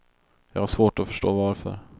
Jag har svårt att förstå varför.